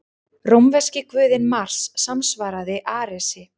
Rómverski guðinn Mars samsvaraði Aresi.